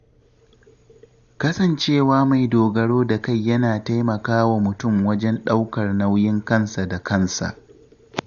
Kasancewa mai dogaro da kai yana taimakawa mutum wajen ɗaukar nauyin kansa da kansa.